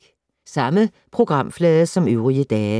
Samme programflade som øvrige dage